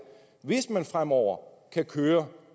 hvis man fremover kan køre